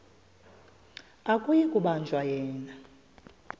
akuyi kubanjwa yena